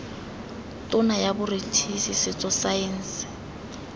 tona ya botsweretshi setso saense